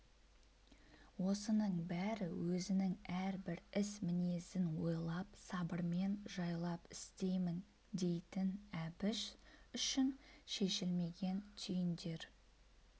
осының бәрі өзінің әрбір іс мінезін ойлап сабырмен жайлап істеймін дейтін әбіш үшін шешілмеген түйіндер